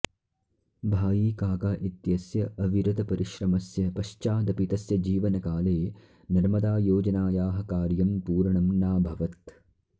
भाईकाका इत्यस्य अविरतपरिश्रमस्य पश्चादपि तस्य जीवनकाले नर्मदायोजनायाः कार्यं पूर्णं नाभवत्